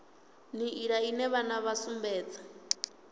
nḓila ine vhana vha sumbedza